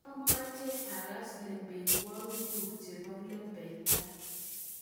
mameche ags lembechweguk chebo lembekta